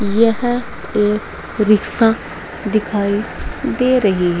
यह एक रिक्शा दिखाई दे रही है।